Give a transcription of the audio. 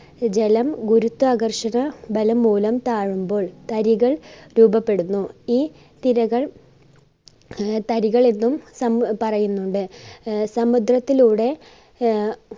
ജലം ഗുരുത്വാകർഷക ബലം മൂലം താഴുമ്പോൾ തരികൾ രൂപപ്പെടുന്നു ഈ തിരകൾ ആഹ് തരികൾ എന്നും എന്ന് പറയുന്നുണ്ട്. ആഹ് സമുദ്രത്തിലൂടെ ആഹ്